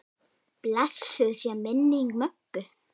Blessuð sé minning Möggu.